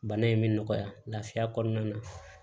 Bana in bɛ nɔgɔya lafiya kɔnɔna na